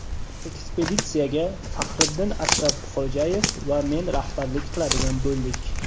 Ekspeditsiyaga Faxriddin Ashrafxo‘jayev va men rahbarlik qiladigan bo‘ldik.